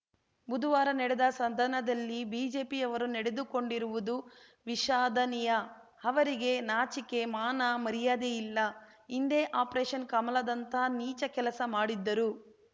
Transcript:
ಬುದುವಾರ ನಡೆದ ಸದನದಲ್ಲಿ ಬಿಜೆಪಿಯವರು ನಡೆದುಕೊಂಡಿರುವುದು ವಿಷಾದನೀಯ ಅವರಿಗೆ ನಾಚಿಕೆ ಮಾನ ಮರ್ಯಾದೆ ಇಲ್ಲ ಹಿಂದೆ ಆಪರೇಷನ್‌ ಕಮಲದಂಥ ನೀಚ ಕೆಲಸ ಮಾಡಿದ್ದರು